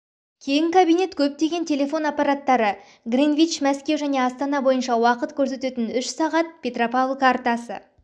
кең кабинет көптеген телефон аппараттары гринвич мәскеу және астана бойынша уақыт көрсететін үш сағат петропавл картасы